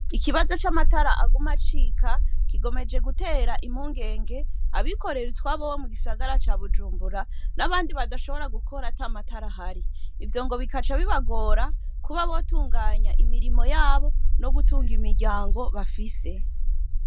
Ikibazo c'amatara aguma acika gikomeje gutera impungenge abikorera utwabo bo mu gisagara ca Bujumbura n'abandi badashobora gukora ata matara ahari . ivyo ngo bikaca bibagora kuba botunganya imirimo yabo no gutunga imiryango bafise.